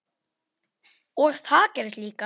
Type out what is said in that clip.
Og það gerðist líka.